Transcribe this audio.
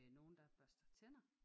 Nogen der børster tænder